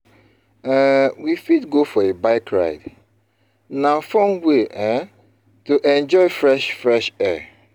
um We fit go for a bike ride; na fun way um to enjoy fresh fresh air.